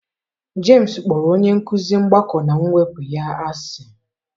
James kpọrọ onye nkụzi mgbakọ na mwepụ ya asị.